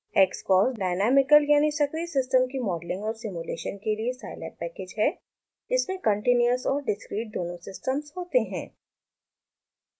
xcos dynamical यानि सक्रीय system की मॉडलिंग और सिम्युलेशन के लिए साईलैब पैकेज है इसमें continuous सतत और discreteअसतत दोनों सिस्टम्स होते हैं